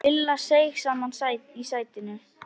Lilla seig saman í sætinu.